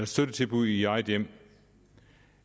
støttetilbud i eget hjem